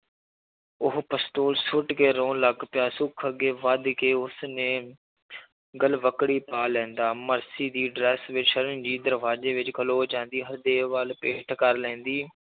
ਉਹ ਪਸਤੋਲ ਸੁੱਟ ਕੇ ਰੋਣ ਲੱਗ ਪਿਆ ਸੁੱਖ ਅੱਗੇ ਵੱਧ ਕੇ ਉਸਨੇ ਗਲਵਕੜੀ ਪਾ ਲੈਂਦਾ, ਮਰਸੀ ਦੀ ਵਿੱਚ ਰਣਜੀਤ ਦਰਵਾਜ਼ੇ ਵਿੱਚ ਖਲੋ ਜਾਂਦੀ ਹਰਦੇਵ ਵੱਲ ਪਿੱਠ ਕਰ ਲੈਂਦੀ,